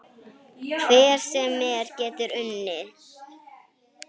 Hver sem er getur unnið.